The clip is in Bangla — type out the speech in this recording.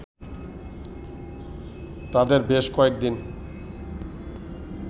তাদের বেশ কয়েকদিন